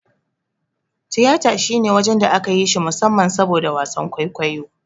Tiyata shine waje da aka yi shi musamman saboda wasan kwaikwayo ba.